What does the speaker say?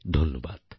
ধন্যবাদ